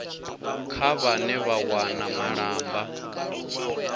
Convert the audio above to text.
kha vhane vha wana malamba